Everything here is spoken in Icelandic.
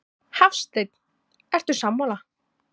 Hafsteinn: Ertu sammála?